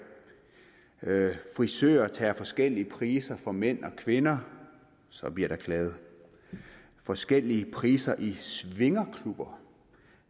frisører tager forskellige priser for mænd og kvinder så bliver der klaget forskellige priser i swingerklubber